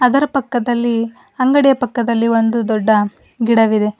ಅದರ ಪಕ್ಕದಲ್ಲಿ ಅಂಗಡಿಯ ಪಕ್ಕದಲ್ಲಿ ಒಂದು ದೊಡ್ಡ ಗಿಡವಿದೆ.